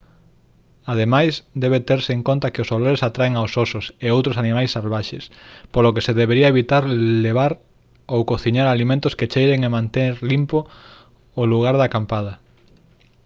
ademais debe terse en conta que os olores atraen aos osos e outros animais salvaxes polo que se debe evitar levar ou cociñar alimentos que cheiren e manter limpo o lugar de acampada